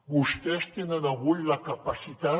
vostès tenen avui la capacitat